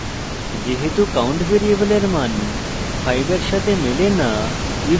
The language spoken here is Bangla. যেহেতু count ভ্যারিয়েবলের match 5 এর সাথে মেলে না